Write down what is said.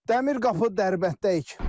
Dəmir qapı Dərbənddəyik.